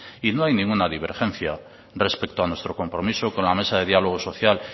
y no hay ninguna divergencia respecto a nuestro compromiso con la mesa de diálogo social